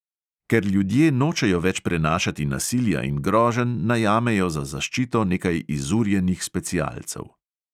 Ker ljudje nočejo več prenašati nasilja in groženj, najamejo za zaščito nekaj izurjenih specialcev.